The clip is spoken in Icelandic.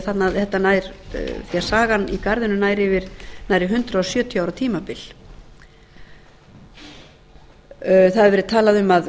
væri leitað því að sagan í garðinum nær yfir nærri hundrað sjötíu ára tímabil það hefur verið talað um að